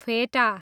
फेटा